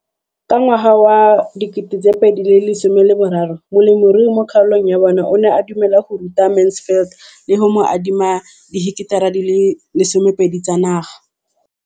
Ka ngwaga wa 2013, molemirui mo kgaolong ya bona o ne a dumela go ruta Mansfield le go mo adima di heketara di le 12 tsa naga.